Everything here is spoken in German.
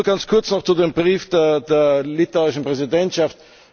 Nur ganz kurz noch zu dem Brief der litauischen Präsidentschaft.